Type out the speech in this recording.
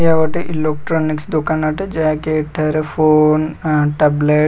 ଏହା ଗୋଟେ ଇଲ୍ଲେଟ୍ରୋନିକସ୍ ଦୋକାନ ଅଟେ ଯାହାକି ଏଠାରେ ଫୋନ୍ ଆଣ୍ଡ ଟ୍ୟାବ୍ଲେଟ୍ --